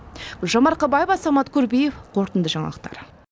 гүлжан марқабаева самат курбиев қорытынды жаңалықтар